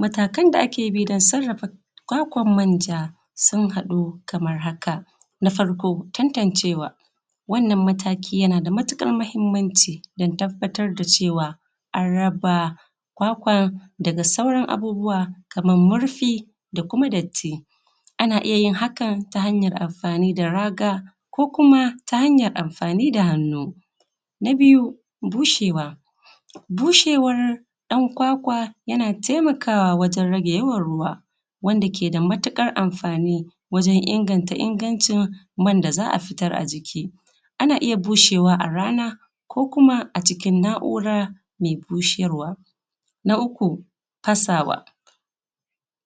Matakan da ake bi don sarrafa kwakwan-manja, sun haɗu kamar haka; na farko, tantancewa; wannan mataki yana da matuƙar mahimmanci don tabbatar da cewa an raba kwakwan daga sauran abubuwa kamar murfi da kuma datti, ana iya yin hakan ta hanyar amfani da raga ko kuma ta hanyar amfani da hannu. Na biyu, bushewa; bushewar ɗan kwakwa yana taimakawa wajen rage yawan ruwa wanda ke da matuƙar amfani wajen inganta ingancin man da za a fitar a jiki, ana iya bushewa a rana ko kuma acikin na’ura mai busharwa. Na uku, fasawa;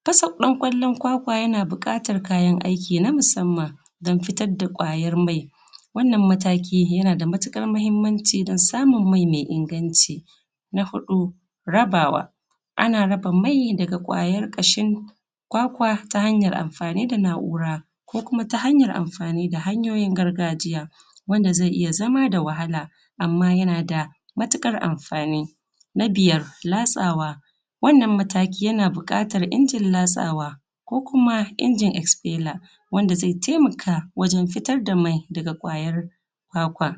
fasa ɗan ƙwallon kwakwa yana buƙatar kayan aiki na musamman don fitar da ƙwayar mai. Wannan mataki yana da matuƙar mahimmanci don samun mai mai inganci. Na huɗu, rabawa; ana raba mai daga ƙwayar ƙashin kwakwa ta hanyar amfani da na’ura ko kuma ta hanyar amfani da hanyoyin gargajiya wanda zai iya zama da wahala, amma yana da matuƙar amfani. Na biyar, latsawa; wannan mataki yana buƙatar injin latsawa ko kuma injin expeller, wanda zai taimaka wajen fitar da mai daga ƙwayar kwakwa.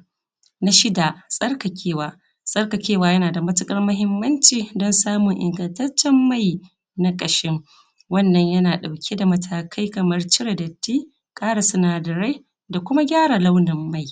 Na shida, tsarkakewa; tsarkakewa yana da matuƙar mahimmanci don samun ingantaccen mai na ƙashin, wannan yana ɗauke da matakai kamar cire datti, ƙara sinadarai da kuma gyara launin mai.